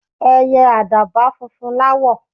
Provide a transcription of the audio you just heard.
Ẹiyẹ àdàbà funfun láwọ̀.